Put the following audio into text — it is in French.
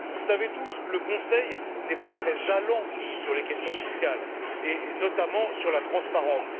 Vous le savez tous, le Conseil n'est pas très allant sur les questions fiscales, et notamment sur la transparence.